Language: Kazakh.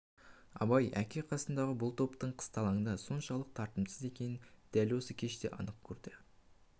абай әке қасындағы бұл топтың қысталаңда соншалық татымсыз екенін дәл осы кеште анық көрді